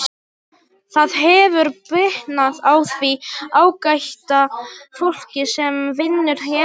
Það hefur bitnað á því ágæta fólki sem vinnur hérna.